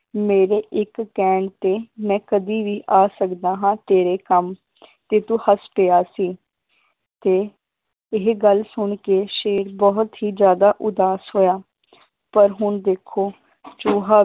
ਮੇਰੇ ਇੱਕ ਕਹਿਣ ਤੇ ਮੈ ਕਦੀ ਵੀ ਆ ਸਕਦਾ ਹਾਂ ਤੇਰੇ ਕੰਮ ਤੇ ਤੂੰ ਹੱਸ ਪਿਆ ਸੀ ਤੇ ਇਹ ਗੱਲ ਸੁਣ ਕੇ ਸ਼ੇਰ ਬਹੁਤ ਹੀ ਜ਼ਿਆਦਾ ਉਦਾਸ ਹੋਇਆ ਪਰ ਹੁਣ ਦੇਖੋ ਚੂਹਾ,